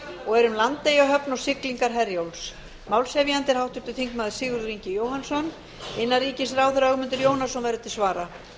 og er um landeyjahöfn og siglingar herjólfs málshefjandi er háttvirtur þingmaður sigurður ingi jóhannsson og innanríkisráðherra ögmundur jónasson verður til andsvara